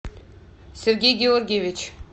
сергей георгиевич